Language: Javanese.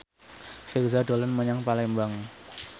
Virzha dolan menyang Palembang